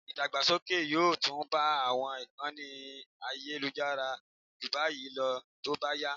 Ìdàgbàsókè yóò tún bá àwọn ìkànnì ayélujára ju báyìí lọ tó bá yá